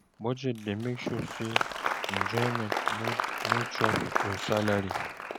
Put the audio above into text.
Budget dey help make sure say enjoyment no chop your salary